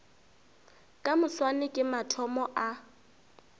ka moswane ke mathomo a